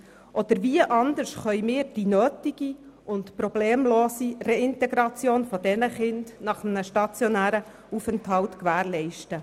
Oder wie können wir sonst die nötige und problemlose Reintegration dieser Kinder nach einem stationären Aufenthalt gewährleisten?